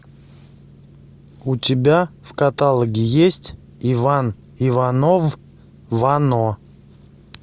у тебя в каталоге есть иван иванов вано